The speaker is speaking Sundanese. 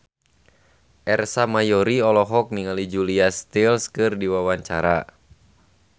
Ersa Mayori olohok ningali Julia Stiles keur diwawancara